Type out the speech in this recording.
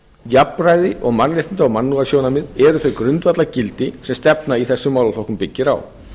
jafnræði og mannréttinda og mannúðarsjónarmið eru þau grundvallargildi sem stefna í þessum málaflokkum byggir á